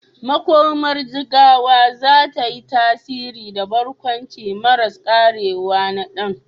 Makomar Jigawa za ta yi tasiri da barkwanci maras karewa na Dan.